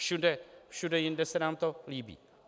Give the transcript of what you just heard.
Všude jinde se nám to líbí.